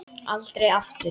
Aldrei aftur.